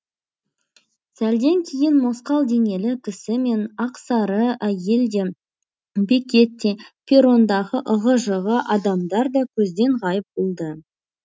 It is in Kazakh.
сәлден кейін мосқал денелі кісі мен ақсары әйел де бекет те перрондағы ығы жығы адамдар да көзден ғайып болды